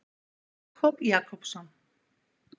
Jakob Jakobsson.